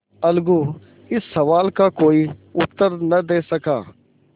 अलगू इस सवाल का कोई उत्तर न दे सका